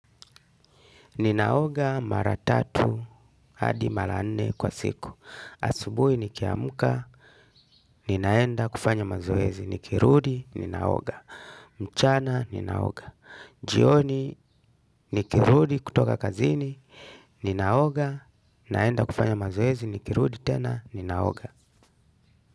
Ninaoga mara tatu, hadi mara nne kwa siku. Asubuhi niki amka, ninaenda kufanya mazoezi, nikirudi, ninaoga. Mchana, ninaoga. Jioni, nikirudi kutoka kazini, ninaoga, ninaenda kufanya mazoezi, nikirudi tena, ninaoga.